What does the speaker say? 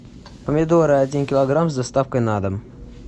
помидоры один килограмм с доставкой на дом